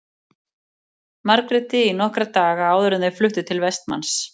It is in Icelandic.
Margréti í nokkra daga áður en þau fluttu sig til Vestmanns.